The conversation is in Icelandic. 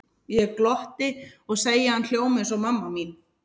Ég glotti og segi að hann hljómi eins og mamma mín.